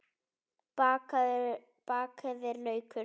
Bakaðir laukar